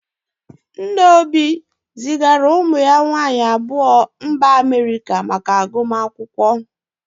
Nna Obi zigara ụmụ ya nwaanyị agụmakwụkwọ na mba Amerịka.